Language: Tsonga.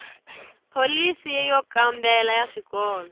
pholisi yo kambela ya swikolo